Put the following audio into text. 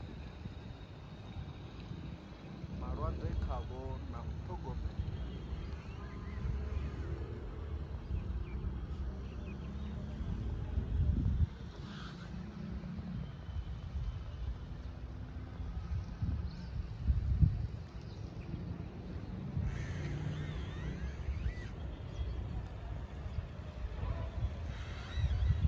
malwadze khavho na u ṱhogomela